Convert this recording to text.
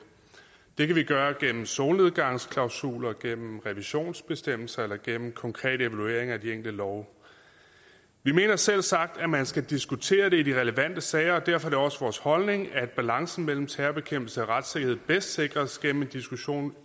det kan vi gøre gennem solnedgangsklausuler gennem revisionsbestemmelser eller gennem konkrete evalueringer af de enkelte love vi mener selvsagt at man skal diskutere det i de relevante sager og derfor er det også vores holdning at balancen mellem terrorbekæmpelse og retssikkerhed bedst sikres gennem en diskussion